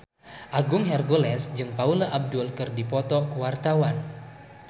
Agung Hercules jeung Paula Abdul keur dipoto ku wartawan